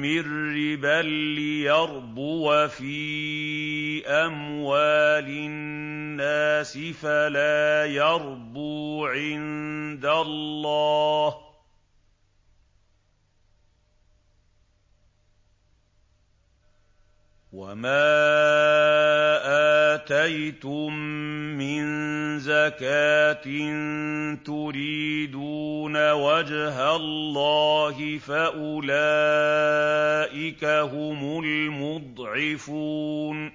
مِّن رِّبًا لِّيَرْبُوَ فِي أَمْوَالِ النَّاسِ فَلَا يَرْبُو عِندَ اللَّهِ ۖ وَمَا آتَيْتُم مِّن زَكَاةٍ تُرِيدُونَ وَجْهَ اللَّهِ فَأُولَٰئِكَ هُمُ الْمُضْعِفُونَ